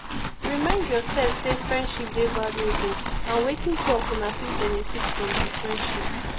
remind yourself sey friendship dey valuable and wetin two of una fit benefit from di friendship